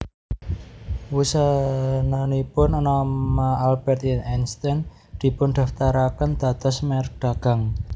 Wusananipun nama Albert Einstein dipundaftaraken dados merk dagang